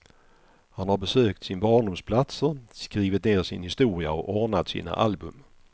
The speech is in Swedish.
Han har besökt sin barndoms platser, skrivit ner sin historia och ordnat sina album.